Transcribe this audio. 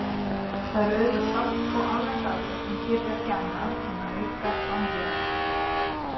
Það er auðvitað sárt og alröng aðferð sem gerir ekki annað en að auka vanlíðanina.